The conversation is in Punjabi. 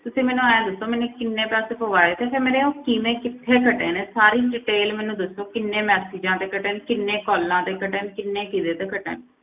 ਤੁਸੀਂ ਮੈਨੂੰ ਇਉਂ ਦੱਸੋ, ਮੈਨੇ ਕਿੰਨੇ ਪੈਸੇ ਪਵਾਏ ਤੇ ਫਿਰ ਮੇਰੇ ਉਹ ਕਿਵੇਂ ਕਿੱਥੇ ਕੱਟੇ ਨੇ, ਸਾਰੀ detail ਮੈਨੂੰ ਦੱਸੋ, ਕਿੰਨੇ messages ਦੇ ਕੱਟੇ ਨੇ, ਕਿੰਨੇ calls ਤੇ ਕੱਟੇ ਨੇ, ਕਿੰਨੇ ਕਿਹਦੇ ਤੇ ਕੱਟੇ ਨੇ।